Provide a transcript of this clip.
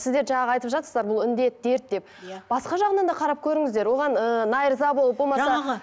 сіздер жаңағы айтып жатсыздар бұл індет дерт деп иә басқа жағынан да қарап көріңіздер оған ыыы болып болмаса